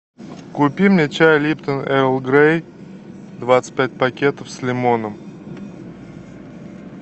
купи мне чай липтон эрл грей двадцать пять пакетов с лимоном